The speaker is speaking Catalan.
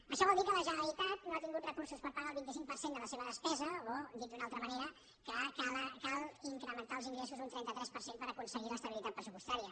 això vol dir que la generalitat no ha tingut recursos per pagar el vint cinc per cent de la seva despesa o dit d’una altra manera que cal incrementar els ingressos un trenta tres per cent per aconseguir l’estabilitat pressupostària